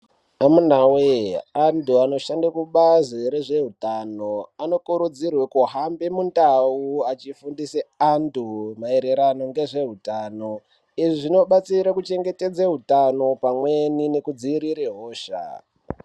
Amunaweee anthu anoshande kubazi rezveutano anokurudzirwa kuhambe mundau achifundise anthu maererano ngezveutano izvi zvinobatsira kuchengetedze utano pamweni nekudzivirira hosha.